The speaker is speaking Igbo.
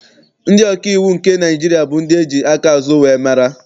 Ndị ọkaiwu nke Naịjirịa bụ ndị eji aka azụ wee mara.